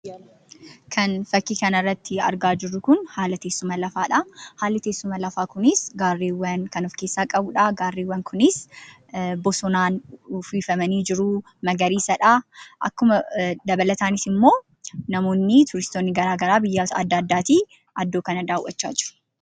Kani bakka kanarratti argaa jirru Kun haala teessuma lafaadha. haalli teessuma Lafaa Kunis gareewwan kan of keessaa qabudha. garreewwan Kunis bosonaan uwwifamanii jiru magariisadha. dabalataaniis immoo namoonni turistoonni garaagaraa biyyoota adda addaati iddoo kana dawwachaa jiru.